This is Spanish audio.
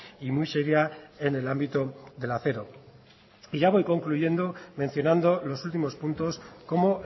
y muy seria en el ámbito del acero y ya voy concluyendo mencionando los últimos puntos como